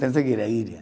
Pensei que era ilha.